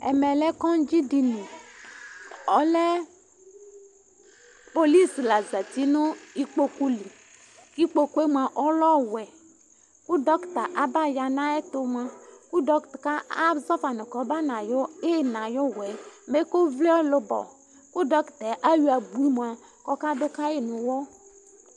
ɛmɛ lɛ kɔdzi dini ɔlɛ polisi la zɛti nu ikpokpo li ikpokpoé moa ɔlɛ ɔwɛ ku dɔkita aba ya na yɛtu moa ku dɔkita azɔfa nu kɔbafa na ina yu wuɛ mɛku vli ɛlubo ku dokita ayɔ abu moa kɔ ka du kayi nu uwuɔ